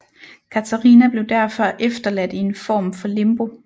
Katarina blev derfor efterladt i en form for limbo